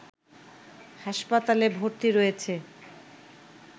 হাসপাতালে ভর্তি রয়েছে